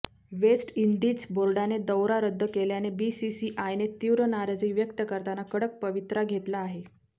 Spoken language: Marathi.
वेस्ट इंडिज बोर्डाने दौरा रद्द केल्याने बीसीसीआयने तीव्र नाराजी व्यक्त करताना कडक पवित्रा घेतला आहे